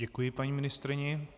Děkuji paní ministryni.